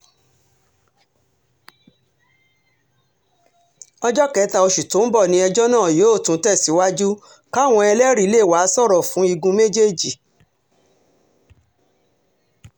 ọjọ́ kẹta oṣù tó ń bọ̀ ni ẹjọ́ náà yóò tún tẹ̀sàìwájú káwọn ẹlẹ́rìí lè wáá sọ̀rọ̀ fún igun méjèèjì